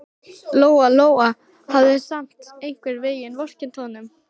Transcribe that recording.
Lóa-Lóa hafði samt einhvern veginn vorkennt honum.